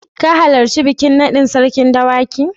Ka halarci bikin naɗin Sarkin Dawaki?